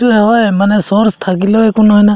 সেইটোয়ে হয় মানে source থাকিলে একো নহয় না